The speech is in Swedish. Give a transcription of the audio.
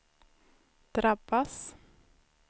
drabbas